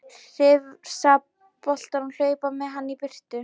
Hrifsa boltann og hlaupa með hann í burtu.